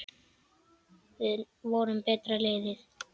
Við vorum betra liðið.